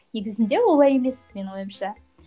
негізінде олай емес менің ойымша